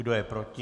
Kdo je proti?